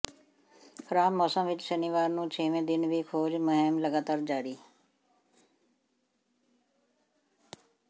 ਖਰਾਬ ਮੌਸਮ ਵਿਚ ਸ਼ਨੀਵਾਰ ਨੂੰ ਛੇਵੇਂ ਦਿਨ ਵੀ ਖੋਜ ਮੁਹਿੰਮ ਲਗਾਤਾਰ ਜਾਰੀ